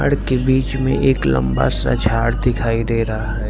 के बीच में एक लंबा सा झाड़ दिखाई दे रहा है।